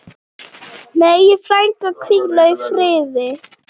Megi frænka hvíla í friði.